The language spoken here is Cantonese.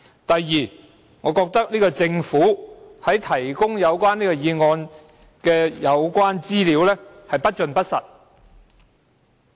第二，我認為政府在提供有關該議案的資料時不盡不實。